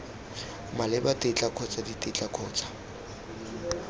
maleba tetla kgotsa ditetla kgotsa